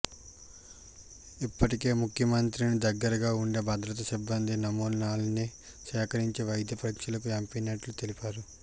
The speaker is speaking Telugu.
ఇప్పటికే ముఖ్యమంత్రికి దగ్గరగా ఉండే భద్రతా సిబ్బంది నమూనాల్ని సేకరించి వైద్య పరీక్షలకు పింపినట్లు తెలిపారు